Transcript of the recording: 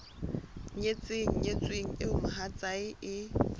nyetseng nyetsweng eo mohatsae e